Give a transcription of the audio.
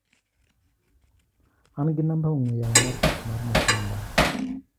An gi namba ong'ue yamo mar tich mar Mutinda.